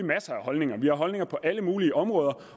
masser af holdninger vi har holdninger på alle mulige områder